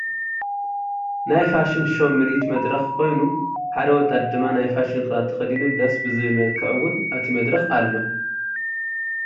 ናይ ፋሽን ሸው ምርኢት መድረክ ኮይኑ ሓደ ወጣት ድማ ናይ ፋሽን ክዳን ተከዲኑ ደስ ብዝብል መልክዕ እውን ኣብቲ መድረክ ኣሎ።